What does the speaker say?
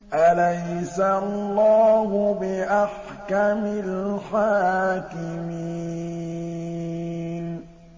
أَلَيْسَ اللَّهُ بِأَحْكَمِ الْحَاكِمِينَ